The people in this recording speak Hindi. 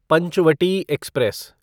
पंचवटी एक्सप्रेस